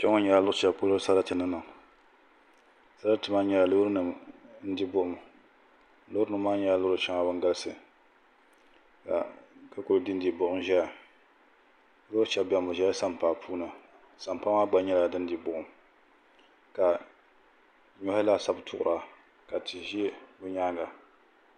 Kpɛŋɔ nyɛla sarati ni niŋ sarati maa nyɛla loorinima n-di buɣum loorinima maa nyɛla loori shɛŋa ban galisi ka bɛ kuli dindi buɣum zaya loori shɛba beni bɛ ʒela sampaa puuni sampaa maa gba nyɛla din di buɣum ka nyɔhi laasabu tuɣira ka tihi ʒe bɛ nyaaŋa.